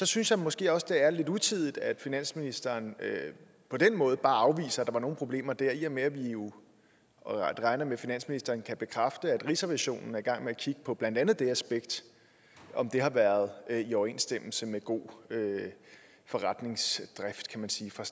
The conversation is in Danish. synes jeg måske også det er lidt utidigt at finansministeren på den måde bare afviser at der var nogle problemer dér i og med at vi jo regner med at finansministeren kan bekræfte at rigsrevisionen er i gang med at kigge på blandt andet det aspekt om det har været i overensstemmelse med god forretningsdrift kan man sige fra